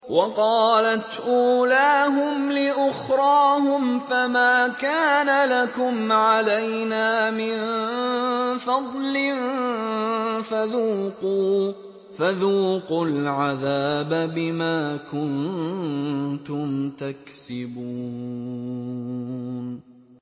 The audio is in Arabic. وَقَالَتْ أُولَاهُمْ لِأُخْرَاهُمْ فَمَا كَانَ لَكُمْ عَلَيْنَا مِن فَضْلٍ فَذُوقُوا الْعَذَابَ بِمَا كُنتُمْ تَكْسِبُونَ